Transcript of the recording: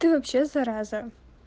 ты вообще зараза